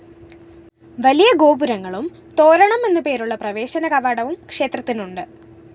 വലിയ ഗോപുരങ്ങളും തോരണം എന്നു പേരുള്ള പ്രവേശനകവാടവും ക്ഷേത്രത്തിനുണ്ട്